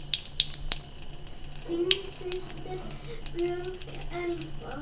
Þín systir, Björk Elfa.